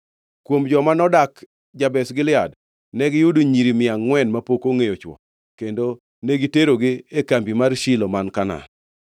Kuom joma nodak Jabesh Gilead negiyudo nyiri mia angʼwen mapok ongʼeyo chwo kendo negiterogi e kambi mar Shilo man Kanaan.